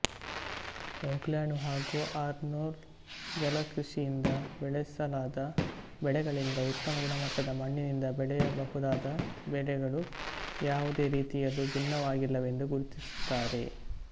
Hoagland ಹಾಗು Arnon ಜಲಕೃಷಿಯಿಂದ ಬೆಳೆಸಲಾದ ಬೆಳೆಗಳಿಗಿಂತ ಉತ್ತಮ ಗುಣಮಟ್ಟದ ಮಣ್ಣಿನಿಂದ ಬೆಳೆಯಬಹುದಾದ ಬೆಳೆಗಳು ಯಾವುದೇ ರೀತಿಯಲ್ಲೂ ಭಿನ್ನವಾಗಿಲ್ಲವೆಂದು ಗುರುತಿಸುತ್ತಾರೆ